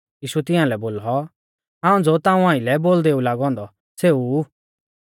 यीशुऐ तियांलै बोलौ हाऊं ज़ो ताऊं आइलै बोलदेऊ लागौ औन्दौ सेऊ ऊ